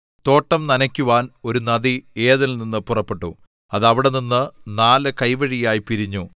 തോട്ടം നനയ്ക്കുവാൻ ഒരു നദി ഏദെനിൽനിന്നു പുറപ്പെട്ടു അത് അവിടെനിന്ന് നാല് കൈവഴിയായി പിരിഞ്ഞു